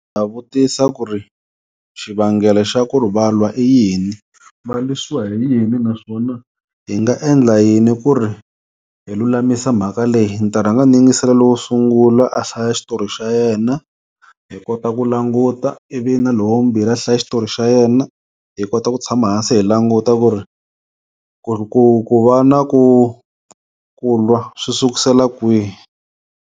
Ha vutisa ku ri xivangelo xa ku ri va lwa i yini. Va lwisiwa hi yini naswona hi nga endla yini ku ri hi lulamisa mhaka leyi, ni ta rhanga ni yingisela lowo sungula a hlaya xitori xa yena hi kota ku languta ivi na lowa vumbirhi a hlaya xitori xa yena, hi kota ku tshama hansi hi languta ku ri ku ri ku ku va na ku ku lwa swi sukusela kwihi.